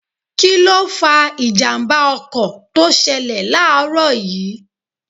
Kíló fa ìjàmbá ọkọ̀ tó ṣẹlẹ̀ láàrọ̀ yìí